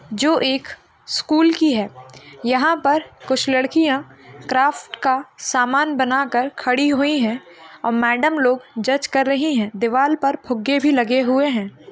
जो एक स्कूल की है यहाँ पर कुछ लड़कियां क्राफ्ट का सामान बना कर खड़ी हुई हैं और मैडम लोग जज कर रही हैं दीवाल पर फुग्गे भी लगे हुए हैं।